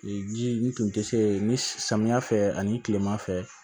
Ji n tun tɛ se ni samiya fɛ ani kilema fɛ